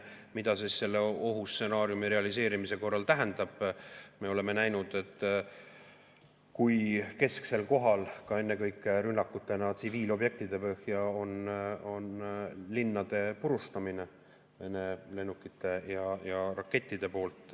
Mida see selle ohustsenaariumi realiseerumise korral tähendab, seda me oleme näinud, kui kesksel kohal ka ennekõike rünnakutena tsiviilobjektide pihta on linnade purustamine Vene lennukite ja rakettide poolt.